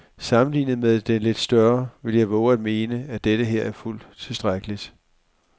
Sammenlignet med den lidt større vil jeg vove at mene, at denneher er fuldt tilstrækkelig.